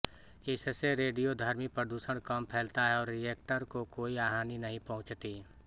इससे रेडियोधर्मी प्रदुषण कम फैलता है और रिएक्टर को कोई हानि नहीं पहुँचती